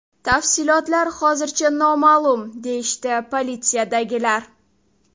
Tafsilotlar hozircha noma’lum, deyishdi politsiyadagilar.